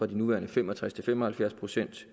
de nuværende fem og tres til fem og halvfjerds procent